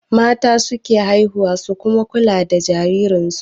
Mata su ke haihuwa su kuma kula da jariransu